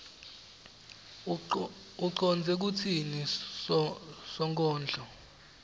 ucondze kutsini sonkondlo